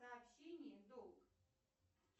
сообщение долг